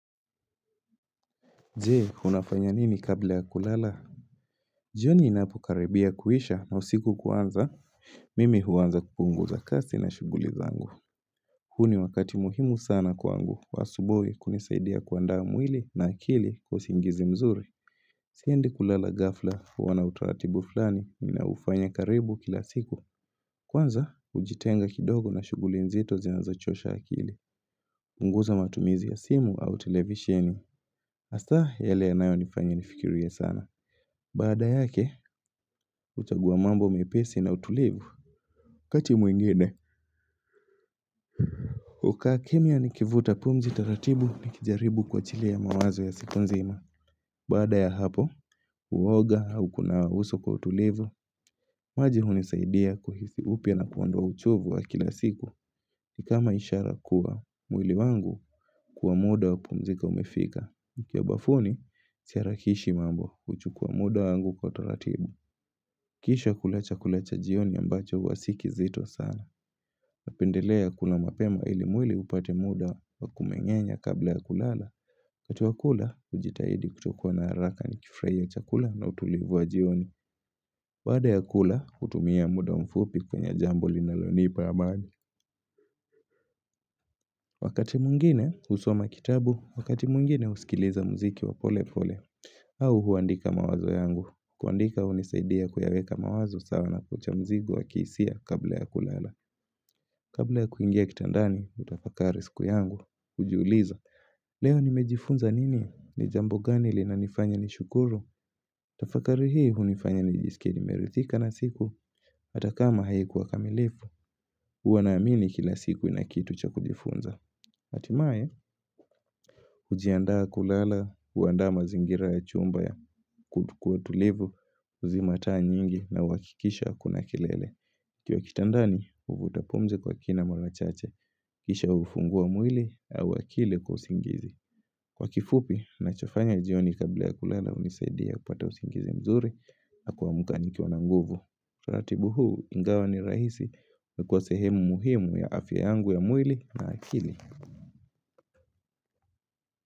Je, unafanya nini kabla ya kulala? Jioni inapo karibia kuisha na usiku kuanza mimi huanza kupunguza kasi na shuguli zangu. Huu ni wakati muhimu sana kwangu, kwa asubuhi kunisaidia kuandaa mwili na akili kwausingizi mzuri. Siendi kulala gafla, huwa na utaratibu fulani, ninaufanya karibu kila siku. Kwanza, ujitenga kidogo na shuguli nzito zinazachosha akili. Punguza matumizi ya simu au televisheni. Hasa, yale ya nayo nifanya nifikiria sana. Baada yake, uchaguwa mambo mepesi na utulivu. Kati muingine. Ukaakimya ni kivuta pumzi taratibu nikijaribu kuachilia mawazo ya siku nzima. Baada ya hapo, uwoga au kunawa uso kwa utulivu. Maji hunisaidia kuhisi upya na kuondoa uchovu wa kila siku. Kama ishara kuwa mwili wangu kwa muda wa pumzika umefika. Nikiwa bafuni, siharakishi mambo huchukua muda wangu kwa taratibu, Kisha kula chakula cha jioni ambacho huwa si kizito sana. Napendelea kula mapema ili mwili upate muda wa kumengenya kabla ya kulala. Wakati wakula, ujitahidi kutokuwa na haraka ni kifraya ya chakula na utulivu wa jioni. Baada ya kula, kutumia muda mfupi kwenye jambo linalonipa amani Wakati mungine, usoma kitabu. Wakati mungine, usikiliza mziki wa pole pole. Au huandika mawazo yangu. Kuandika unisaidia kuyaweka mawazo sawa na kuchamzigo wa kisia kabla ya kulala Kabla ya kuingia kitandani utafakari siku yangu ujiuliza Leo nimejifunza nini? Nijambo gani lina nifanya nishukuru? Tafakari hii hunifanya nijisike nimeridhika na siku Atakama haikuwa kamilifu, huwanaamini kila siku inakitu cha kujifunza. Atimae, ujiandaa kulala, uandaa mazingira ya chumba ya kutukua tulivu. Uzimataa nyingi na wakikisha kuna kilele kiwa kitandani, uvutapumzi kwa kina marachache Kisha ufungua mwili au akili kwa usingizi Kwa kifupi, nachofanya jioni kabila kulala unisadia kupata usingizi mzuri, na kwamuka nikiwa na nguvu. Ratibu huu, ingawa ni rahisi na kwa sehemu muhimu ya afya yangu ya mwili na akili.